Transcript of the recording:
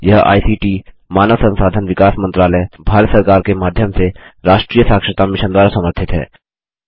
यह आईसीटी मानव संसाधन विकास मंत्रालय भारत सरकार के माध्यम से राष्ट्रीय साक्षरता मिशन द्वारा समर्थित है